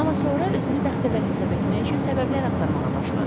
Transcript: Amma sonra özümü bəxtəvər hesab etmək üçün səbəblər axtarmağa başladım.